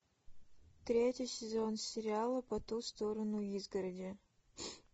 третий сезон сериала по ту сторону изгороди